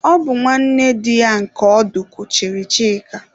Ọ bụ nwanne di ya nke ọdụ kuchiri Chika.